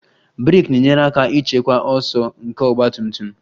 Brek na-enyere aka ịchịkwa ọsọ nke ọgba tum tum